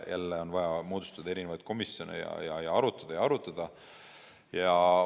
Jälle on vaja moodustada komisjone ja arutada ja arutada.